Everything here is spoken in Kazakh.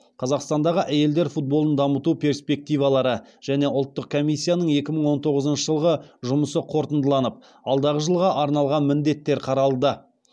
қазақстандағы әйелдер футболын дамыту перспективалары және ұлттық комиссияның екі мың он тоғызыншы жылғы жұмысы қорытындыланып алдағы жылға арналған міндеттер қаралды